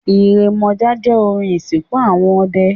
Ìrèmọ̀jé jẹ́ orin ìsìnkú àwọn ọdẹ.